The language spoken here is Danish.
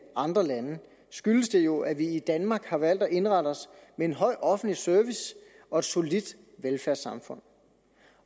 andre lande skyldes det jo at vi i danmark har valgt at indrette os med en høj offentlig service og et solidt velfærdssamfund